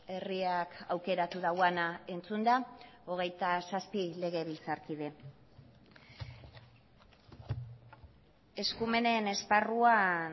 herriak aukeratu duena entzunda hogeita zazpi legebiltzarkide eskumenen esparruan